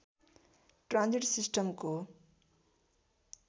transit सिस्टमको